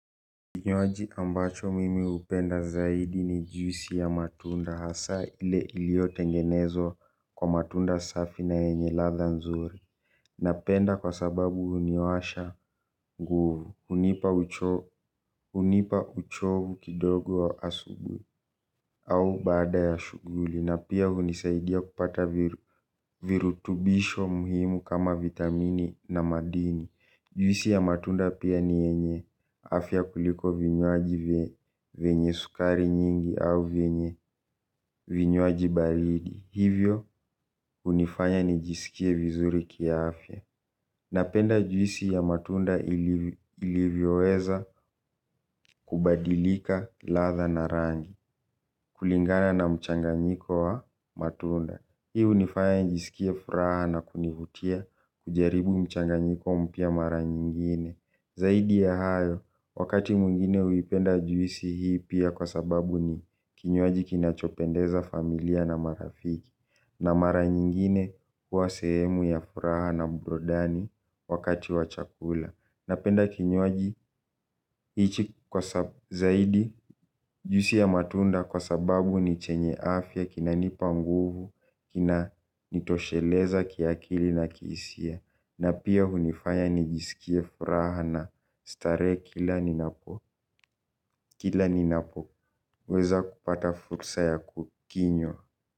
Kinywaji ambacho mimi hupenda zaidi ni jiusi ya matunda hasa ile iliyotengenezwa kwa matunda safi na yenye ladha nzuri. Napenda kwa sababu huniwasha nguvu. Hunipa uchovu kidogo wa asubuhi. Au baada ya shughuli na pia hunisaidia kupata virutubisho muhimu kama vitamini na madini. Juisi ya matunda pia ni yenye afya kuliko vinywaji vyenye sukari nyingi au vinywaji baridi. Hivyo hunifanya nijiskie vizuri kiafya. Napenda juisi ya matunda ilivyoweza kubadilika ladha na rangi kulingana na mchanganyiko wa matunda. Hii hunifanya nijisikie furaha na kunivutia kujaribu mchanganyiko mpya mara nyingine. Zaidi ya hayo, wakati mwengine huipenda juisi hii pia kwa sababu ni kinywaji kinachopendeza familia na marafiki. Na mara nyingine kuwa sehemu ya furaha na burudani wakati wa chakula. Napenda kinywaji hichi zaidi juisi ya matunda kwa sababu ni chenye afya kinanipa nguvu kinanitosheleza kiakili na kihisia na pia hunifany nijiskie furaha na starehe kila ninapo kila ninapoweza kupata fursa ya kukinywa.